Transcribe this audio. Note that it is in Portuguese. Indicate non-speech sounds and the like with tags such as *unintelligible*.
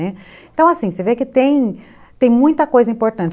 *unintelligible* Então, assim, você vê que que tem muita coisa importante.